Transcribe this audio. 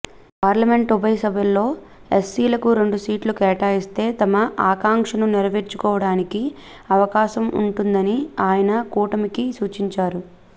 parliament ఉభయ సభల్లో ఎస్సీలకు రెండు సీట్లు కేటాయిస్తే తమ ఆకాంక్షను నెరవేర్చుకోవడానికి అవకాశం ఉంటుందని ఆయన కూటమికి సూచించారు